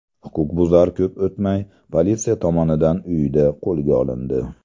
Huquqbuzar ko‘p o‘tmay politsiya tomonidan uyida qo‘lga olindi.